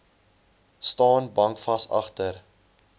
staan bankvas agter